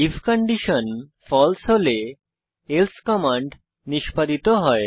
if condition ফালসে হলে else command নিষ্পাদিত হয়